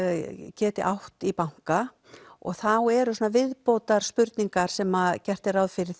geti átt í banka og þá eru viðbótarspurningar þar sem gert er ráð fyrir